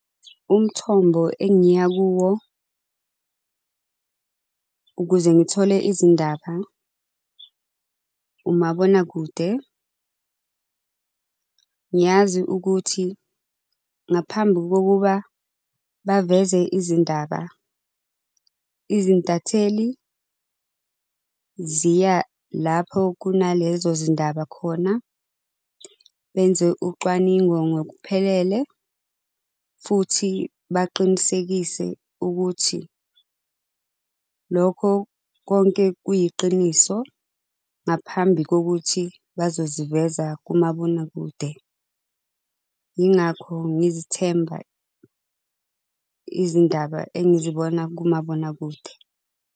Umthombo engiya kuwo ukuze ngithole izindaba, umabonakude. Ngiyazi ukuthi ngaphambi kokuba baveze izindaba, izintatheli ziya lapho kunalezo zindaba khona, benze ucwaningo ngokuphelele, futhi baqinisekise ukuthi lokho konke kuyiqiniso ngaphambi kokuthi bazoziveza kumabonakude. Yingakho ngizithemba izindaba engizibona kumabonakude.